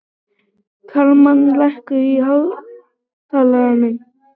Kalmann, lækkaðu í hátalaranum.